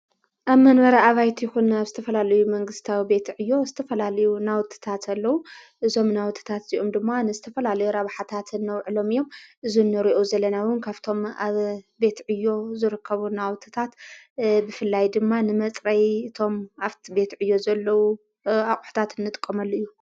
ኣብ መንበረ ኣባይት ይኹን ኣብ ዝተፈላልዩ መንግሥታዊ ቤት ዕእዮ እዝተፈላልዩ ናውትታት አለዉ እዞም ናውትታት እዚኡም ድማ ንዝተፈላልዩ ረብሓታት ነውዕሎም እዮም እዝነርኦ ዘለናዊን ካብቶም ኣብ ቤትዕዮ ዙርከቡ ናውትታት ብፍላይ ድማ ንመጽረይ እቶም ኣፍቲ ቤት እዮ ዘለዉ ኣቝሕታት እንጥቆመሉ እዩ::